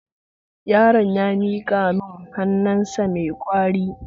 Yaron ya miƙa mun hannu sa mai kauri